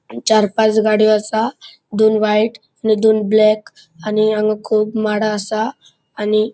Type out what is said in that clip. चार पाच गाड़ीयो आसा दोन व्हाइट आणि दोन ब्लॅक आणि हांगा खूब माडा असा आणि --